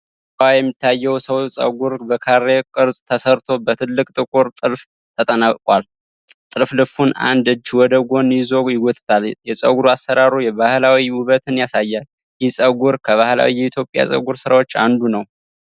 ከኋላዋ የሚታየው ሰው ፀጉር በካሬ ቅርጽ ተሰርቶ፣ በትልቅ ጥቁር ጥልፍ ተጠናቋል። ጥልፍልፉን አንድ እጅ ወደ ጎን ይዞ ይጎትታል፤ የፀጉር አሰራሩ የባህላዊ ውበትን ያሳያል። ይህ ፀጉር ከባህላዊ የኢትዮጵያ ፀጉር ስራዎች አንዱ ነው?